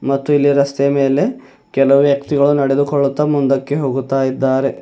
ಮತ್ತು ಇಲ್ಲಿ ರಸ್ತೆಯ ಮೇಲೆ ಕೆಲವು ವ್ಯಕ್ತಿಗಳು ನಡೆದುಕೊಳ್ಳುತ್ತಾ ಮುಂದಕ್ಕೆ ಹೋಗುತ್ತಾ ಇದ್ದಾರೆ.